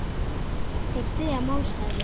Þeir styðja málstað minn.